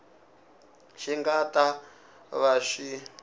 xi nga ta va xi